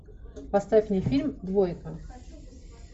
поставь мне фильм двойка